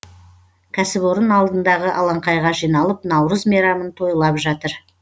кәсіпорын алдындағы алаңқайға жиналып наурыз мейрамын тойлап жатыр